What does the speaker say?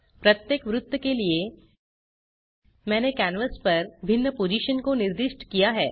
प्रत्येक वृत्त के लिए मैंने कैनवास पर भिन्न पोजिशन को निर्दिष्ट किया है